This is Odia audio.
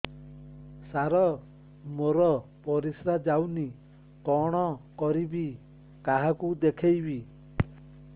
ସାର ମୋର ପରିସ୍ରା ଯାଉନି କଣ କରିବି କାହାକୁ ଦେଖେଇବି